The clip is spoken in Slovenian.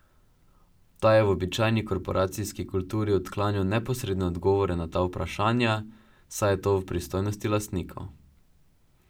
Ta je v običajni korporacijski kulturi odklanjal neposredne odgovore na ta vprašanja, saj je to v pristojnosti lastnikov.